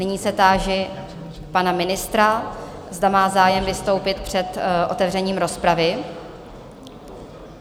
Nyní se táži pana ministra, zda má zájem vystoupit před otevřením rozpravy?